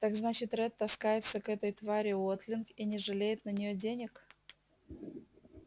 так значит ретт таскается к этой твари уотлинг и не жалеет на нее денег